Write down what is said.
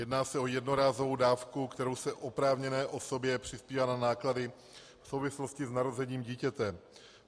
Jedná se o jednorázovou dávku, kterou se oprávněné osobě přispívá na náklady v souvislosti s narozením dítěte.